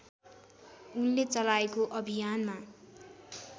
उनले चलाएको अभियानमा